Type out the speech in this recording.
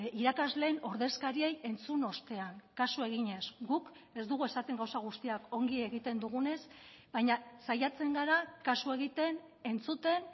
irakasleen ordezkariei entzun ostean kasu eginez guk ez dugu esaten gauza guztiak ongi egiten dugunez baina saiatzen gara kasu egiten entzuten